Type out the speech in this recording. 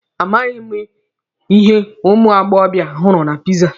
A maghị m ihe ụmụ agbọbịa hụrụ na piza.